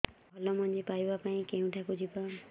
ଭଲ ମଞ୍ଜି ପାଇବା ପାଇଁ କେଉଁଠାକୁ ଯିବା